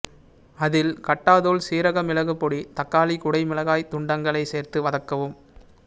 அதில் கட்டாதூள்சீரக மிளகு பொடி தக்காளி குடை மிளகாய்த் துண்டங்களைச் சேர்த்து வதக்கவும்